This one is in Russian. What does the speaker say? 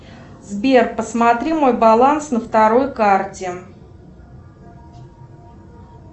сбер посмотри мой баланс на второй карте